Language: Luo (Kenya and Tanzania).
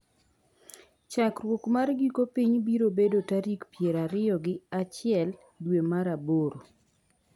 Chakruok mar giko piny biro bedo tarik piero ariyo gi achiel dwe mar aboro.